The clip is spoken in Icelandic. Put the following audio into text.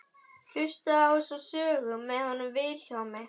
Hlustaðu þá á þessa sögu með honum Vilhjálmi.